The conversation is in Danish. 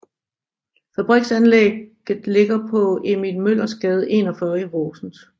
Fabriksanlægget ligger på Emil Møllers Gade 41 i Horsens